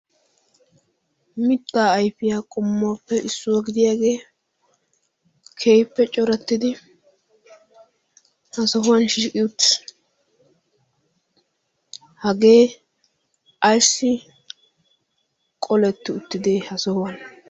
mittaa ayfiyaa qommuwaappe issuwaa gidiyaagee kehippe corattidi ha sohuwan shiutis hagee ayssi qoletti uttidi ha sohuwan?